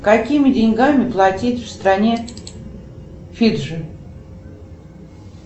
какими деньгами платить в стране фиджи